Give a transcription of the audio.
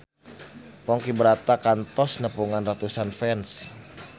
Ponky Brata kantos nepungan ratusan fans